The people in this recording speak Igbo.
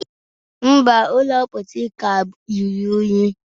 Mba, ụlọ mposi ka ruru unyi